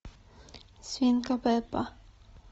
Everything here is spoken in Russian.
свинка пеппа